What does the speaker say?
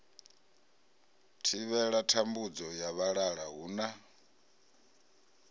thivhela thambudzo ya vhalala huna